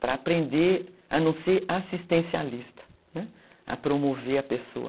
para aprender a não ser assistencialista, né, a promover a pessoa.